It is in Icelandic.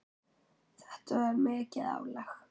Þetta var mikið álag.